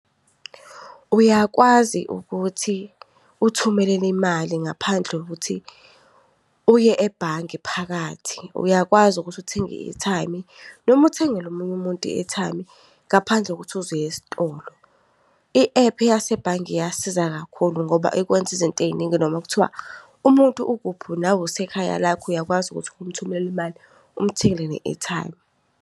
Uyakwazi ukuthi uthumelele imali ngaphandle kuthi uye ebhange phakathi. Uyakwazi ukuthi uthenge i-airtime, noma uthengele omunye umuntu i-airtime, ngaphandle kokuthi uze uye estolo. I-ephu yasebhange iyasiza kakhulu ngoba ikwenza izinto ey'ningi noma kuthiwa umuntu ukuphi unawe usekhaya lakho. Uyakwazi ukuthi umthumelela imali umthengele ne-airtime.